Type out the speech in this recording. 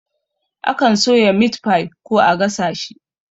Akan soya mitfai ko a gasa shi